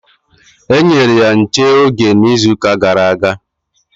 E nyere ya nche oge n'izuuka gara aga.